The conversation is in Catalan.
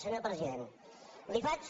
senyor president li faig